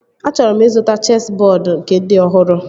Achọrọ m ịzụta chesị bọọdu nke dị ọhụrụ